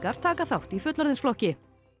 taka þátt í fullorðinsflokki